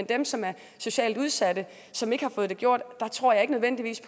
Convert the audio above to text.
dem som er socialt udsatte og som ikke har fået det gjort tror jeg ikke nødvendigvis